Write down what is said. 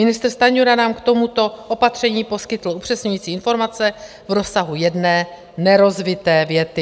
Ministr Stanjura nám k tomuto opatření poskytl upřesňující informace v rozsahu jedné nerozvité věty.